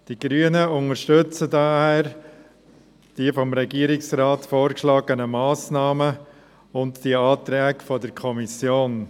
Die Grünen unterstützen daher die vom Regierungsrat vorgeschlagenen Massnahmen und die Anträge der Kommission.